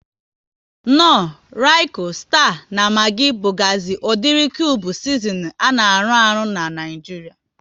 Knor, Royiko, Sita na Magi bugazi udiri kube sizinin a na arụ ahụ n'Naijiria